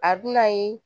A dunan ye